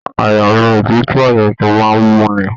Àyà ní òtútù àyà tí màá n mú ní.